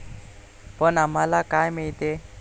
पण आम्हाला काय मिळतेय?